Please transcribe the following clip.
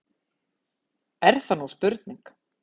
Er það nú spurning!